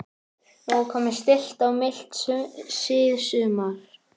Nú er komið stillt og milt síðsumar.